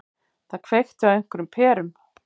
Það kveikti á einhverjum perum.